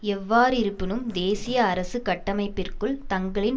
எவ்வாறிருப்பினும் தேசிய அரசு கட்டமைப்பிற்குள் தங்களின்